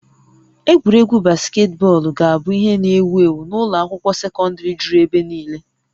Egwuregwu basketbọọlụ ga-abụ ihe n'ewu ewu n'ụlọ akwụkwọ sekọndrị juru ebe niile